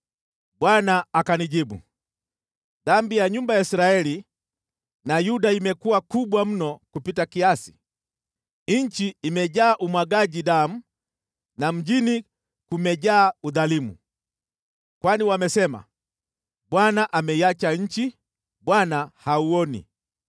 Bwana akanijibu, “Dhambi ya nyumba ya Israeli na Yuda imekuwa kubwa mno kupita kiasi, nchi imejaa umwagaji damu na mjini kumejaa udhalimu. Kwani wamesema, ‘ Bwana ameiacha nchi, Bwana hauoni.’